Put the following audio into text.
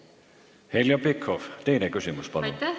Heljo Pikhof, teine küsimus, palun!